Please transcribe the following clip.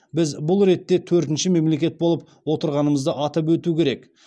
біз бұл ретте төртінші мемлекет болып отырғанымызды атап өту керек